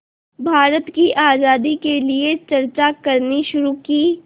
भारत की आज़ादी के लिए चर्चा करनी शुरू की